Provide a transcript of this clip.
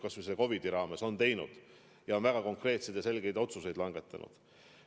Kas või seoses selle COVID-iga on väga konkreetseid ja selgeid otsuseid langetatud.